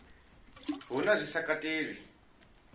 hu na zwi sa katelwi